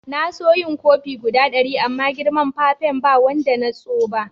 Na so yin kofi guda dari amma girman fafen ba wanda na tso ba.